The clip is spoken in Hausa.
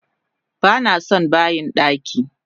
Banason bayin daki!